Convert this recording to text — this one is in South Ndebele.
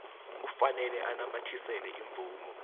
kufanele anamathisele imvumo